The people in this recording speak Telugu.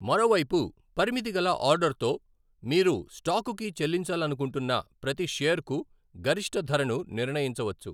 మరోవైపు, పరిమితిగల ఆర్డర్తో, మీరు స్టాకుకి చెల్లించాలనుకుంటున్న ప్రతి షేర్కు గరిష్ట ధరను నిర్ణయించవచ్చు.